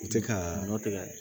U tɛ ka nɔ tɛ ka